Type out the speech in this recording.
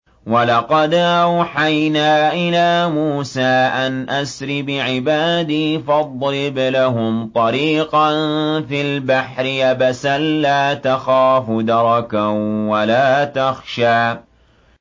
وَلَقَدْ أَوْحَيْنَا إِلَىٰ مُوسَىٰ أَنْ أَسْرِ بِعِبَادِي فَاضْرِبْ لَهُمْ طَرِيقًا فِي الْبَحْرِ يَبَسًا لَّا تَخَافُ دَرَكًا وَلَا تَخْشَىٰ